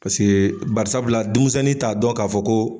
Paseke barisabula dumisɛni t'a dɔn k'a fɔ ko